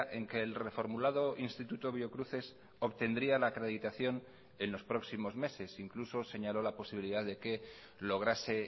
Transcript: en que el reformulado instituto biocruces obtendría la acreditación en los próximos meses incluso señaló la posibilidad de que lograse